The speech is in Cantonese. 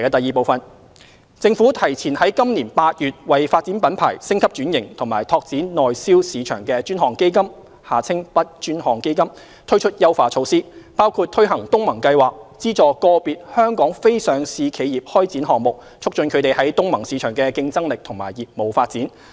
二政府提前自今年8月為"發展品牌、升級轉型及拓展內銷市場的專項基金"推出優化措施，包括推行東盟計劃，資助個別香港非上市企業開展項目，促進它們在東盟市場的競爭力和業務發展。